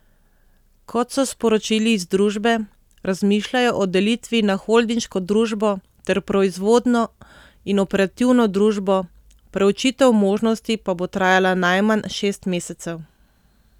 Kot so sporočili iz družbe, razmišljajo o delitvi na holdinško družbo ter proizvodno in operativno družbo, preučitev možnosti pa bo trajala najmanj šest mesecev.